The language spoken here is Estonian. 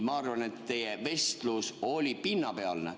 Ma arvan, et teie vestlus oli pinnapealne.